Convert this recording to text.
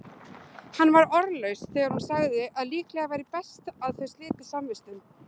Hann var orðlaus þegar hún sagði að líklega væri best að þau slitu samvistum.